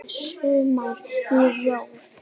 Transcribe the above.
Annað sumarið í röð.